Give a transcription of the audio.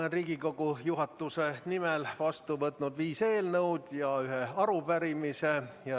Olen Riigikogu juhatuse nimel vastu võtnud viis eelnõu ja ühe arupärimise.